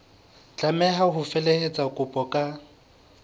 tlameha ho felehetsa kopo ka